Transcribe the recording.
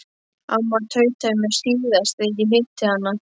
Amma tautaði í mér síðast þegar ég hitti hana.